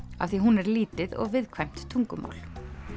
af því hún er lítið og viðkvæmt tungumál